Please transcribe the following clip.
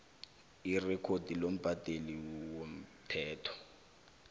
irekhodi lombhadeli womthelo